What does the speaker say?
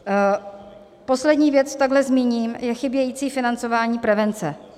Poslední věc, kterou zmíním, je chybějící financování prevence.